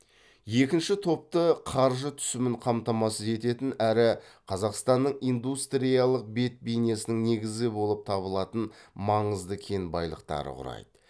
екінші топты қаржы түсімін қамтамасыз ететін әрі қазақстанның индустриялық бет бейнесінің негізі болып табылатын маңызды кен байлықтары құрайды